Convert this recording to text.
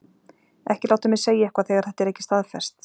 Ekki láta mig segja eitthvað þegar þetta er ekki staðfest.